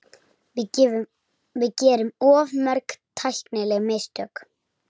Við gerum of mörg tæknileg mistök.